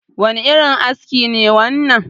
wane irin aski ne wannan?